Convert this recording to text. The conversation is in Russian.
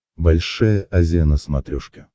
большая азия на смотрешке